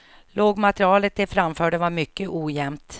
Låtmaterialet de framförde var mycket ojämnt.